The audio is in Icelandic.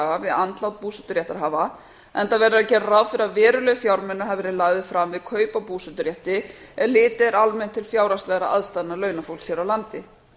við andlát búseturéttarhafa enda verðum við að gera ráð fyrir að verulegir fjármunir hafi verið lagðir fram við kaup á búseturétti ef litið er almennt til fjárhagslegra aðstæðna launafólks hér á landi